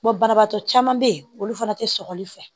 banabagatɔ caman be yen olu fana te sɔkɔli fɛ